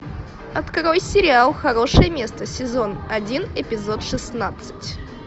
открой сериал хорошее место сезон один эпизод шестнадцать